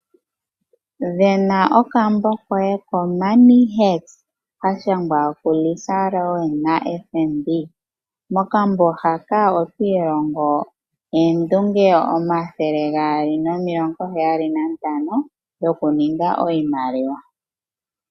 Vena okambo koye koMoney Hacks ka shangwa kuLisa Rowan na FNB. Mokambo haka oto ilongo mo oondunge 275 dhoku ninga iimaliwa.